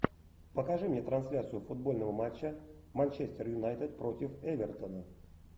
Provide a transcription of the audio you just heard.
покажи мне трансляцию футбольного матча манчестер юнайтед против эвертона